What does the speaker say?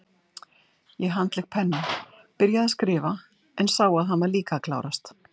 Ég handlék pennann, byrjaði að skrifa, en sá að hann var líka að klárast.